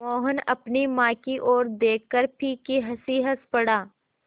मोहन अपनी माँ की ओर देखकर फीकी हँसी हँस पड़ा